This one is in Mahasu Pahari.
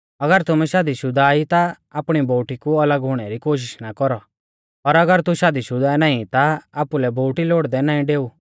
अगर तुमै शादी शुदा ई ता आपणी बोउटी कु अलग हुणै री कोशिष ना कौरौ और अगर तू शादीशुदा नाईं ता आपुलै बोउटी लोड़दै नाईं डेऊ